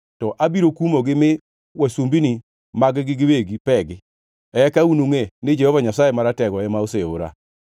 to abiro kumogi mi wasumbini mag-gi giwegi pegi. Eka unungʼe ni Jehova Nyasaye Maratego ema oseora.”